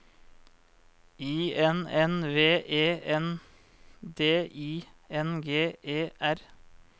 I N N V E N D I N G E R